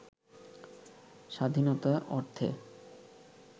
স্বাধীনতা অর্থে